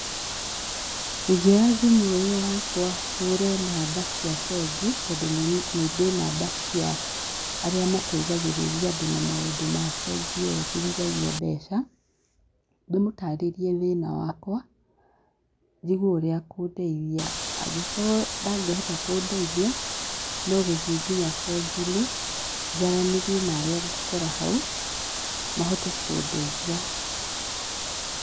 Ingĩoya thimũ ĩyo yakwa hũre namba cia bengi, tondũ nĩndĩ namba cia arĩa mateithagĩrĩria andũ na maũndũ ma bengi ĩyo njigithagia mbeca, ndĩmũtarĩrie thĩna wakwa, njigue ũrĩa akũndeithia. Angĩkorwo ndangĩhota kũndeithia, no gũthiĩ nginya benginĩ njaranĩrie na arĩa ngũkora hau, mahote kũndeithia.